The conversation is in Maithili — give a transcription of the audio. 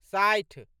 साठि